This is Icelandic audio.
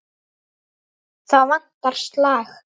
Þá vantar slag.